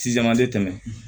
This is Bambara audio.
Sisan a bɛ tɛmɛ